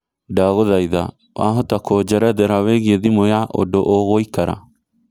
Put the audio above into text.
ndagũthaĩtha wahota kũjerethera wĩigie thimũ ya ũndũ ũgũikara